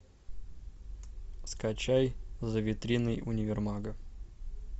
скачай за витриной универмага